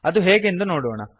ಅದು ಹೇಗೆಂದು ನೋಡೋಣ